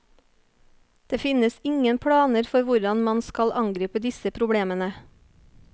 Det finnes ingen planer for hvordan man skal angripe disse problemene.